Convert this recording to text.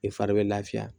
I fari bɛ lafiya